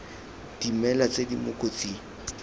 dimela tse di mo kotsing